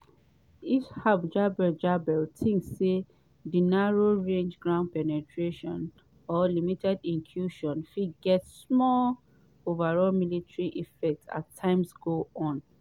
hisham jaber jaber tink say di narrow-range ground penetrations - or limited incursions - fit get small overall military effect as time go on.